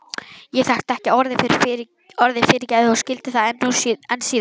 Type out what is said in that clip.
Ég þekkti ekki orðið fyrirgefðu og skildi það enn síður.